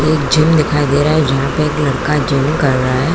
एक जिम दिखाई दे रहा है जहाँ पे एक लड़का जिम कर रहा है।